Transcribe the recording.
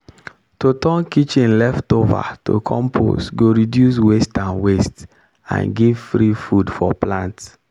to turn kitchen leftover to compost go reduce waste and waste and give free food for plant.